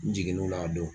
N jiginn'o la a don